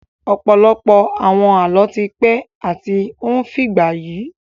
Ọ̀pọ̀lọpọ̀ àwọn Àlọ́ ti pẹ́ àti ó ń fìgbà yi